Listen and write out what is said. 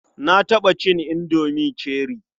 Na taɓa cin indomi cherie.